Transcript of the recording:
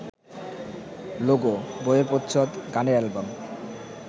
logo, বইয়ের প্রচ্ছদ, গানের অ্যালবাম